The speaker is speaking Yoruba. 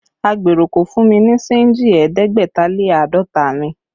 Agbèrò kò fún mi ní senji ẹ̀ẹ́dẹ́gbẹ̀ta lé àádọ́ta mi